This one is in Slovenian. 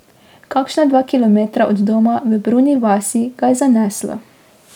Kakšna dva kilometra od doma, v Bruni vasi, ga je zaneslo.